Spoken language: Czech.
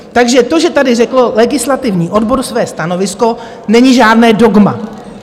Takže to, že tady řekl legislativní odbor své stanovisko, není žádné dogma!